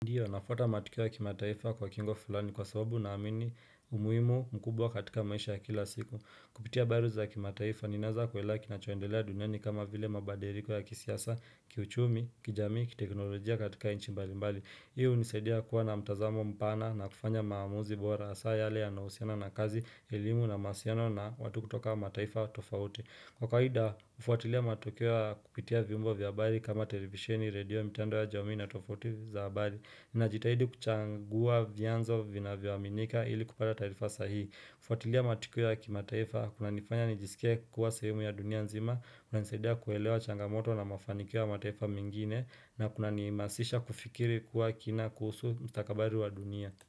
Ndiyo, nafuata matukio ya kimataifa kwa kingo fulani kwa sababu naamini umuhimu mkubwa katika maisha ya kila siku. Kupitia habari za kimataifa, ninaweza kuelewa kinachoendelea duniani kama vile mabadiliko ya kisiasa, kiuchumi, kijamii, kiteknolojia katika nchi mbalimbali. Hii hunisaidia kuwa na mtazamo mpana na kufanya maamuzi bora hasa yale yanahusiana na kazi, elimu na mahusiano na watu kutoka mataifa tofauti. Kwa kawaida, hufuatilia matukio kupitia vyombo vya habari kama televisioni, redio, mtandao wa jamii na tovuti za habari. Najitahidi kuchagua vyanzo vinavyoaminika ili kupata taarifa sahihi. Kufuatilia matukio ya kimataifa, kunanifanya nijisikie kuwa sehemu ya dunia nzima, kunanisaidia kuelewa changamoto na mafanikio ya mataifa mengine, na kunanimasisha kufikiri kwa kina kuhusu mstakabali wa dunia.